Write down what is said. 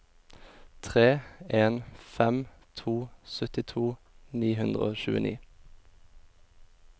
tre en fem to syttito ni hundre og tjueni